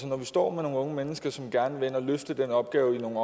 når vi står med nogle unge mennesker som gerne vil ind og løfte den opgave i nogle